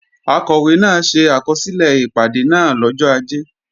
Akọ̀wé náà ṣe àkọsílẹ̀ ìpàdé náà lọ́jọ́ Ajé